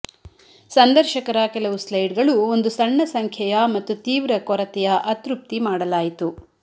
ಸಂದರ್ಶಕರ ಕೆಲವು ಸ್ಲೈಡ್ಗಳು ಒಂದು ಸಣ್ಣ ಸಂಖ್ಯೆಯ ಮತ್ತು ತೀವ್ರ ಕೊರತೆಯ ಅತೃಪ್ತಿ ಮಾಡಲಾಯಿತು